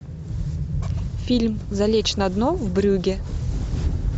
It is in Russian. фильм залечь на дно в брюгге